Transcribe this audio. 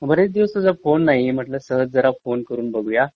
मग बरेच दिवस तुझा फोन नाही म्हटलं सहज जरा फोन करून बघूया.